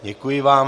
Děkuji vám.